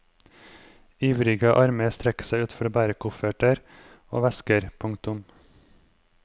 Ivrige armer strekker seg ut for å bære kofferter og vesker. punktum